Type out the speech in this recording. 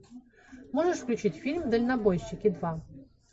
можешь включить фильм дальнобойщики два